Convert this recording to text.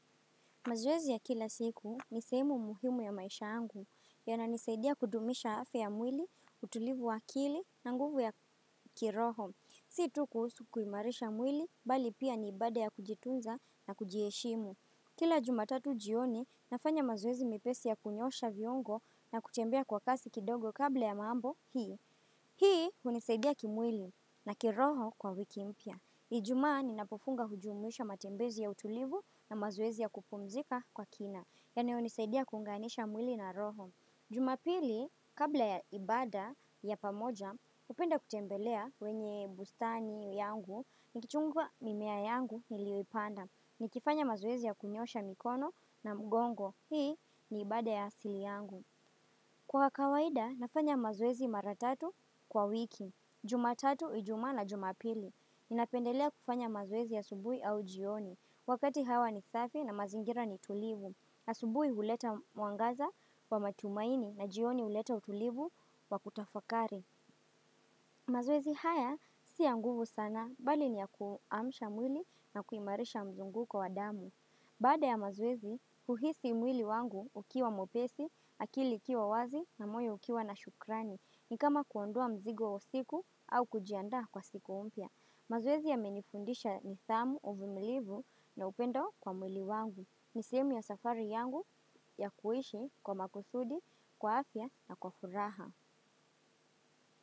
Mazoezi ya kila siku nisehemu muhimu ya maisha yangu. Yana nisaidia kudumisha afya ya mwili, utulivu wa akili na nguvu ya kiroho. Situ kuhusu kuimarisha mwili, bali pia niibada ya kujitunza na kujieshimu. Kila jumatatu ujioni, nafanya mazoezi mepesi ya kunyosha viongo na kutembea kwa kasi kidogo kabla ya mambo hii. Hii unisaidia kimwili na kiroho kwa wiki mpya. Ijumaa ninapofunga hujumwisha matembezi ya utulivu na mazoezi ya kupumzika kwa kina. Yanayo nisaidia kunganisha mwili na roho. Jumapili, kabla ya ibada ya pamoja, hupenda kutembelea wenye bustani yangu, nikichungwa mimea yangu niliyoipanda. Nikifanya mazoezi ya kunyosha mikono na mgongo. Hii ni ibada ya asili yangu. Kwa kawaida, nafanya mazoezi maratatu kwa wiki. Jumatatu, ijumaa na jumapili. Ninapendelea kufanya mazoezi ya asubui au jioni Wakati hawa ni safi na mazingira ni tulivu na asubui uleta muangaza wa matumaini na jioni uleta utulivu wa kutafakari mazoezi haya siya nguvu sana bali niya kuamisha mwili na kuimarisha mzunguko wa damu Bada ya mazoezi, huhisi mwili wangu ukiwa mwepesi, akili ikiwa wazi na moyo ukiwa na shukrani ni kama kuondua mzigo wa siku au kujianda kwa siku umpia mazoezi ya menifundisha nidhamu uvumilivu na upendo kwa mwili wangu nisehumu ya safari yangu ya kuishi kwa makusudi, kwa afya na kwa furaha.